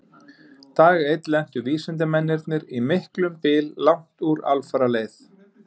Dag einn lentu vísindamennirnir í miklum byl langt úr alfaraleið.